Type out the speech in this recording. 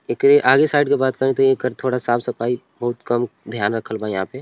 एकरे आगे साइड के बात करी त एकर थोड़ा साफ सफाई बहुत कम ध्यान रखल बा यहाँ पे ।